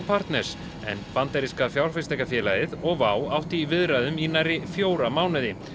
partners en bandaríska fjárfestingafélagið og WOW áttu í viðræðum í nærri fjóra mánuði